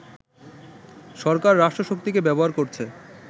সরকার রাষ্ট্রশক্তিকে ব্যবহার করছে